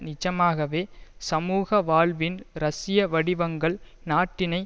நிஜமாகவே சமூக வாழ்வின் ரஷ்ய வடிவங்கள் நாட்டினை